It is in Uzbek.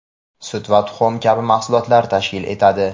sut va tuxum kabi mahsulotlar tashkil etadi.